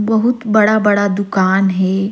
बहुत बड़ा-बड़ा दुकान हे।